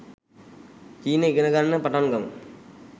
චීන ඉගෙනගන්න පටන්ගමු